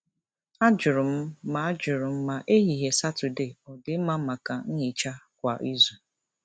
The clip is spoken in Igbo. Ajụrụ m ma Ajụrụ m ma ehihie Saturday ọ dị mma maka nhicha kwa izu.